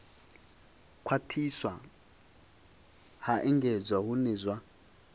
khwathiswa ha engedzwa hune zwa